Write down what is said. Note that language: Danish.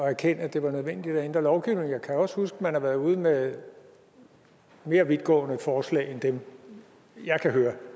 erkende at det var nødvendigt at ændre lovgivningen jeg kan også huske at man har været ude med mere vidtgående forslag end dem jeg kan høre